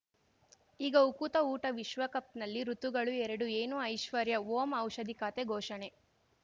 ಈಗ ಉಕುತ ಊಟ ವಿಶ್ವಕಪ್‌ನಲ್ಲಿ ಋತುಗಳು ಎರಡು ಏನು ಐಶ್ವರ್ಯಾ ಓಂ ಔಷಧಿ ಖಾತೆ ಘೋಷಣೆ